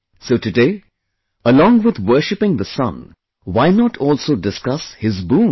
So today, along with worshiping the Sun, why not also discuss his boon